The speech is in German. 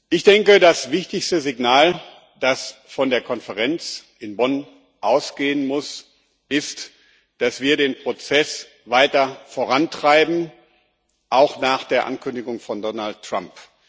Ich denke, das wichtigste Signal, das von der Konferenz in Bonn ausgehen muss, ist, dass wir den Prozess weiter vorantreiben auch nach der Ankündigung von Donald Trump.